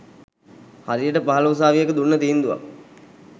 හරියට පහල උසාවියක දුන්න තීන්දුවක්